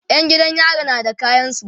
Yan gidan yari na da kayansu